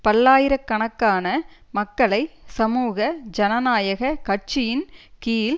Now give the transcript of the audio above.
பல்லாயிர கணக்கான மக்களை சமூக ஜனநாயக கட்சியின் கீழ்